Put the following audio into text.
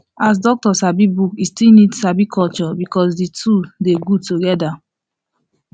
as doctor sabi book e still need sabi culture because the two dey good together